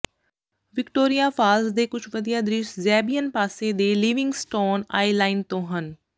Victoria Falls ਦੇ ਕੁੱਝ ਵਧੀਆ ਦ੍ਰਿਸ਼ ਜ਼ੈਬਿਅਨ ਪਾਸੇ ਦੇ ਲਿਵਿੰਗਸਟੋਨ ਆਇਲੈਂਡ ਤੋਂ ਹਨ